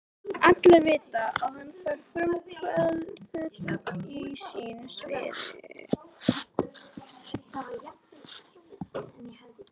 Allir vita, að hann var frumkvöðull á sínu sviði.